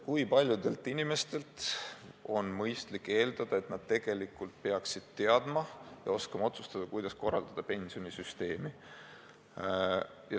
Kui paljudelt inimestelt on mõistlik eeldada, et nad peaksid teadma ja oskama otsustada, kuidas pensionisüsteemi korraldada?